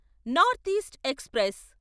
north east express